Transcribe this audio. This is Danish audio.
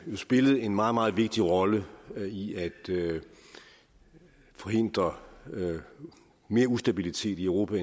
jo spillet en meget meget vigtig rolle i at forhindre mere ustabilitet i europa